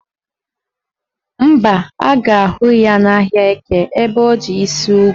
Mba, ha ga-ahụ ya n'ahịa Eke ebe o ji isi ugu